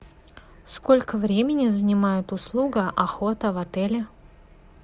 сколько времени занимает услуга охота в отеле